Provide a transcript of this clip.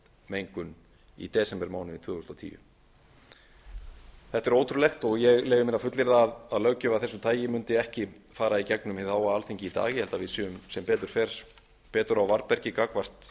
mengun í desember mánuði tvö þúsund og tíu þetta er ótrúlegt og ég leyfi mér að fullyrða að löggjöf af þessu tagi mundi ekki fara í gegnum hið háa alþingi í dag ég held að við séum sem betur fer á varðbergi gagnvart